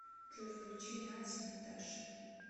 джой включи натти наташа